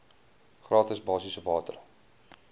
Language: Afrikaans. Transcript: gratis basiese water